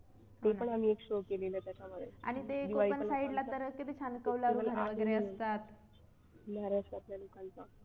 ते पण आम्ही एक show केलेला त्याच्यामध्ये